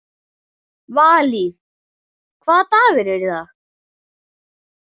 Valý, hvaða dagur er í dag?